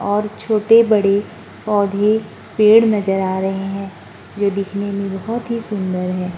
और छोटे-बड़े पौधे पेड़ नज़र आ रहे हैं जो दिखने में बोहोत ही सुन्दर है।